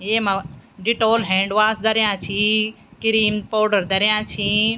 येमा Dettol hand wash धर्या छिं किरिम पोडर धर्या छिं।